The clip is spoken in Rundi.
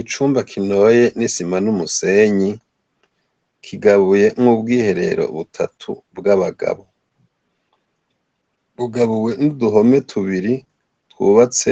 Icumba kinoye nisima numusenyi kigabuyemwo ubwiherero butatu bwabagabo bugabuwe nuduhome tubiri twubatse